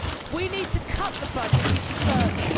We need to cut the budget even further.